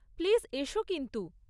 Please, এসো কিন্তু।